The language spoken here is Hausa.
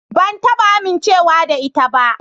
Ban taba amincewa da ita ba.